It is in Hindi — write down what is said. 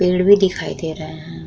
पेड़ भी दिखाई दे रहे हैं।